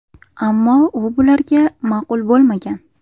Ammo u bularga ma’qul bo‘lmagan.